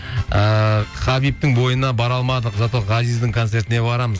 ыыы хабибтің бойына бара алмадық зато ғазиздің концертіне барамыз